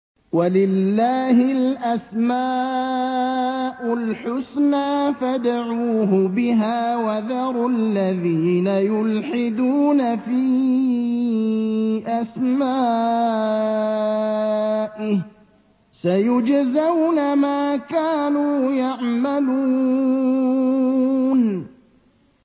وَلِلَّهِ الْأَسْمَاءُ الْحُسْنَىٰ فَادْعُوهُ بِهَا ۖ وَذَرُوا الَّذِينَ يُلْحِدُونَ فِي أَسْمَائِهِ ۚ سَيُجْزَوْنَ مَا كَانُوا يَعْمَلُونَ